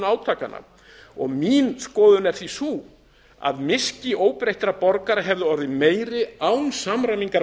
stigmögnun átakanna mín skoðun er því sú að miski óbreyttra borgara hefði orðið meiri án samræmingar